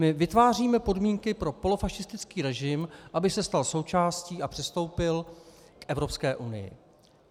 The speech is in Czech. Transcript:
My vytváříme podmínky pro polofašistický režim, aby se stal součástí a přistoupil k Evropské unii.